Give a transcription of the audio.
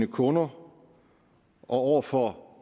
kunder og over for